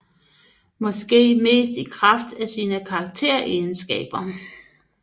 Måske mest i kraft af sine karakteregenskaber